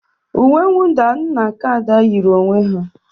Uwe mwụda m na nke Ada yiri onwe ha.